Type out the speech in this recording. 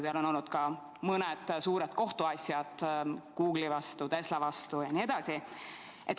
Seal on olnud ka mõned suured kohtuasjad Google'i vastu, Tesla vastu jne.